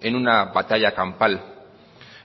en una batalla campal